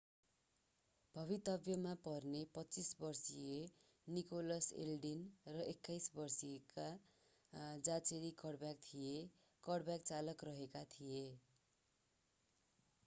भवितव्यमा पर्ने 25 वर्षका Nicholas Eldin र 21 वर्षका जाचेरी कडब्यक थिए कडब्याक चालक रहेका थिए